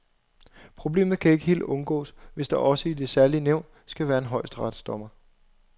Problemet kan ikke helt undgås, hvis der også i det særlige nævn skal være en højesteretsdommer.